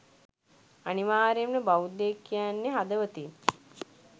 අනිවාර්යෙන්ම බෞද්ධයෙක් කියන්නෙ හදවතින්